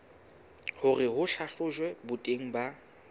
hore ho hlahlojwe boteng ba